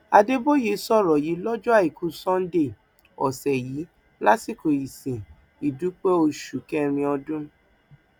adéboye sọrọ yìí lọjọ àìkú sannda ọsẹ yìí lásìkò ìsìn ìdúpẹ oṣù kẹrin ọdún